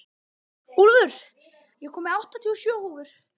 Úlfur, ég kom með áttatíu og sjö húfur!